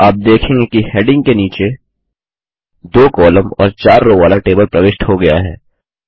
आप देखेंगे कि डैंडिग के नीचे दो कॉलम और चार रो वाला टेबल प्रविष्ट हो गया है